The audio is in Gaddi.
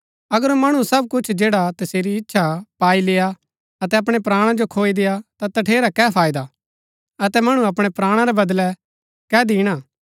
अगर मणु सब कुछ जैडा तसेरी इच्छा हा पाई लेय्आ अतै अपणै प्राणा जो खोई देय्आ ता तठेरा कै फायदा अतै मणु अपणै प्राणा रै बदलै कै दिणा